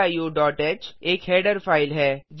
ह stdioह एक हेडर फ़ाइल है